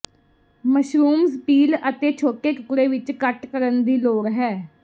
mushrooms peel ਅਤੇ ਛੋਟੇ ਟੁਕੜੇ ਵਿੱਚ ਕੱਟ ਕਰਨ ਦੀ ਲੋੜ ਹੈ